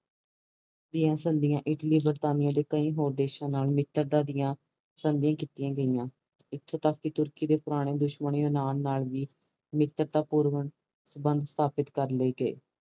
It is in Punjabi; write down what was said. ਇਟਲੀ ਦੀਆ ਸੰਧੀਆਂ ਇਟਲੀ ਬਰਤਾਨੀਆ ਕਈ ਹੋਰ ਦੇਸ਼ਾ ਨਾਲ ਮਿੱਤਰਤਾ ਦੀਆਂ ਸੰਧੀਆਂ ਕੀਤੀਆਂ ਗਈਆਂ ਇਥੋਂ ਤਕ ਕਿ ਤੁਰਕੀ ਦੇ ਪੁਰਾਣੇ ਦੁਸ਼ਮਣ ਯੂਨਾਨ ਨਾਲ ਵੀ ਮਿੱਤਰਤਾ ਪੂਰਨ ਸੰਬੰਧ ਸਥਾਪਥ ਕਰ ਲਾਏ ਗਏ